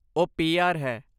ਉਹ ਪੀ.ਆਰ. ਹੈ।